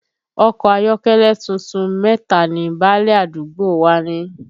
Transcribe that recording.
Ọkọ ayọ́kẹ́lẹ́ tuntun mẹ́ta ni báálẹ̀ àdúgbò wa ní